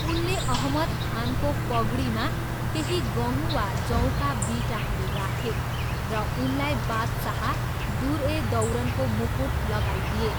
उनले अहमद खानको पगडीमा केही गहुँ वा जौका बिटाहरू राखे र उनलाई बादशाह, दुर ए दौरनको मुकुट लगाइदिए।